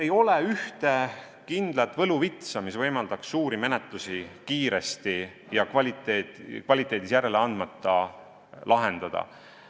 Ei ole ühte kindlat võluvitsa, mis võimaldaks suuri menetlusi kiiresti ja kvaliteedis järele andmata lahendada.